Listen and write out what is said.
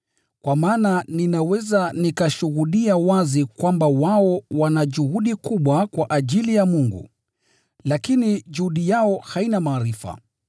Kwa maana ninaweza nikashuhudia wazi kwamba wao wana juhudi kubwa kwa ajili ya Mungu, lakini juhudi yao haina maarifa.